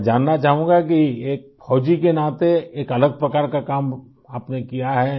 میں یہ جاننا چاہتا ہوں کہ ایک فوجی کی حیثیت سے ایک مختلف قسم کا کام آپ نے کیا